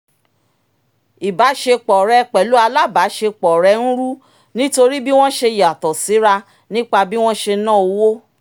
ìbáṣepọ̀ rẹ̀ pẹ̀lú alábàáṣepọ̀ rẹ ń rú nítorí bí wọ́n ṣe yàtọ̀ síra nípa bí wọ́n ṣe na owó